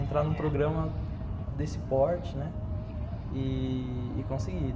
entrar num programa desse porte, né, e conseguir.